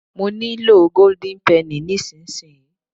mo nilo golden penny nisinsinyi